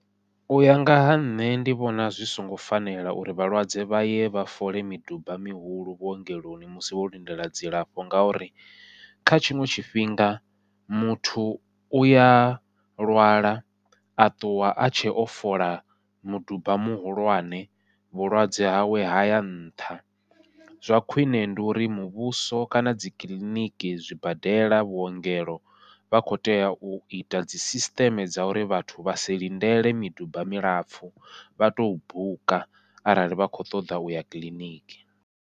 Uya nga ha nṋe ndi vhona zwi songo fanela uri vhalwadze vha ye vha fole miduba mihulu vhuongeloni musi wo lindela dzilafho, ngauri kha tshiṅwe tshifhinga muthu uya lwala a ṱuwa a tshe o fola muduba muhulwane vhulwadze hawe haya nṱha. Zwa khwiṋe ndi uri muvhuso kana dzi kiḽiniki, zwibadela, vhuongelo, vha kho tea u ita dzi sisiṱeme dza uri vhathu vha si lindele miduba milapfhu vha to buka arali vha kho ṱoḓa uya kiḽiniki.